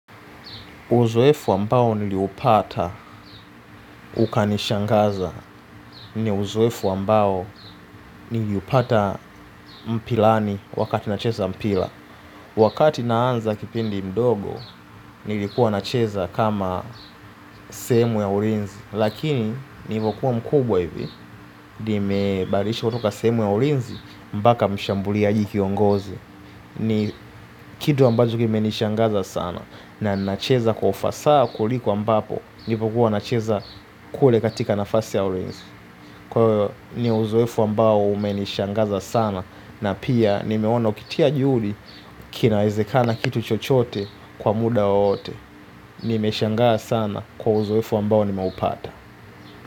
Uzoefu ambao niliupata ukanishangaza ni uzoefu ambao niliupata mpirani wakati nacheza mpira. Wakati naanza kipindi mdogo nilikuwa nacheza kama sehemu ya ulinzi. Lakini nilivyokuwa mkubwa hivi, nimebadilishwa kutoka sehemu ya ulinzi mpaka mshambuliaji kiongozi. Ni kitu ambacho kime nishangaza sana na nacheza kwa ufasaa kuliko ambapo. Nilipokuwa na cheza kule katika nafasi ya ulinzi. Kwahivo ni uzoefu ambao umenishangaza sana. Na pia nimeona ukitia juhudi. Kinawezekana kitu chochote kwa muda wowote. Nimeshangaa sana kwa uzoefu ambao nimeupata.